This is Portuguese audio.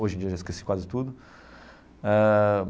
Hoje em dia eu já esqueci quase tudo ah.